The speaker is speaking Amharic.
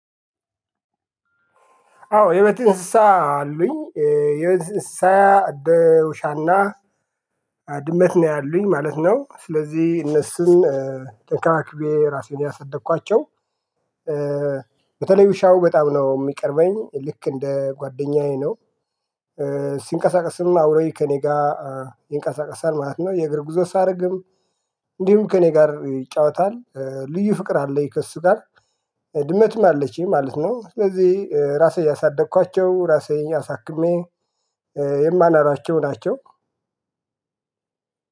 አዎ የቤት እንስሳ አሉኝ የቤት እንስሳ አንደ ውሻ እና ድመት ነው ያሉኝ ማለት ነው ስለዚህ እነሱን ተንከባክቤ ራሴን ነው ያሳደኳቸው። በተለይ ውሻው በጣም ነው የሚቀርበኝ ልክ እንደ ጓደኛዬ ነው። ሲንቀሳቀስም አውሮኝ ከእኔ ጋር ይንቀሳቀሳል ማለት ነው። የእግር ጉዞ ሳደርግም እንዲሁም ከእኔ ጋር ይጫወታል ልዩ ፍቅር አለኝ ከእሱ ጋር። ድመትም አለችኝ ማለት ነው ስለዚህ ራሴ ያሳደግኳቸው ራሴን አሳክሜ የማኖሯቸው ናቸው።